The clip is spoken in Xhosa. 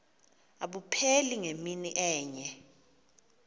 abupheli ngemini enye